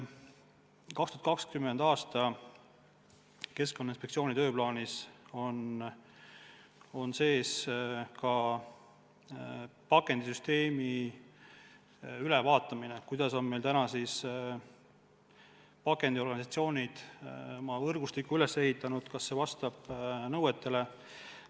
2020. aastal on Keskkonnainspektsiooni tööplaanis sees ka pakendisüsteemi ülevaatamine: kuidas on pakendiorganisatsioonid oma võrgustiku üles ehitanud, kas see vastab nõuetele.